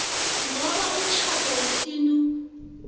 ngoba umtjhado wesintu